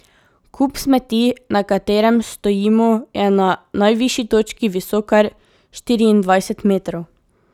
Kup smeti, na katerem stojimo, je na najvišji točki visok kar štiriindvajset metrov.